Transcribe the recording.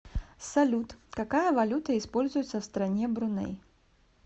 салют какая валюта используется в стране бруней